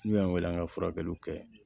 N'u y'an wele an ka furakɛliw kɛ